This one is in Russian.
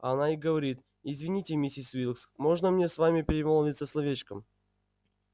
а она и говорит извините миссис уилкс можно мне с вами перемолвиться словечком